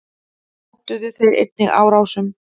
Hótuðu þeir einnig árásum.